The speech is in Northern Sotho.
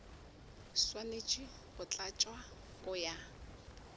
swanetše go tlatšwa go ya